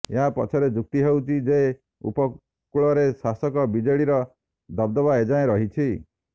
ଏହା ପଛରେ ଯୁକ୍ତି ହେଉଛି ଯେ ଉପକୂଳରେ ଶାସକ ବିଜେଡିର ଦବଦବା ଏଯାଏଁ ରହିଛି